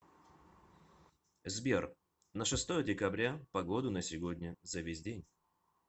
сбер на шестое декабря погоду на сегодня за весь день